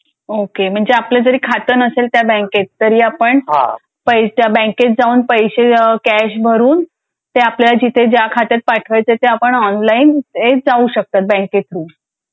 okay आपलं जर खात नसेल तर त्या बँकेत तरी आपण त्या बँकेत जाऊन पैसे कॅश भरून ते आपल्याला जिथे ज्या खात्यात पाठवायचे ते आपण ऑनलाइन जाऊ शकतात बँकेत थ्रू,